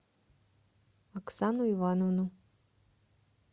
оксану ивановну